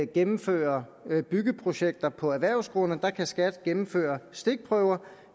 gennemfører byggeprojekter på erhvervsgrunde kan skat gennemføre stikprøver